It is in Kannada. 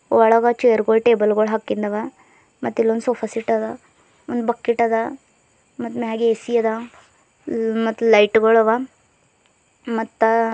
ಒಳಗ ಚೇರ್ ಗಳ್ ಟೇಬಲ್ ಗಳ್ ಹಾಕಿಂದವ ಮತ್ ಇಲ್ಲೊಂದು ಸೋಫಾ ಸೆಟ್ ಅದ ಒಂದು ಬಕೆಟ್ ಅದ ಮತ್ತ ಮೇಗ ಎ_ಸಿ ಅದ ಉ ಮತ್ತ ಲೈಟ್ ಗಳು ಅವ ಮತ್ತ--